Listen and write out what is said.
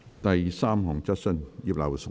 第三項質詢。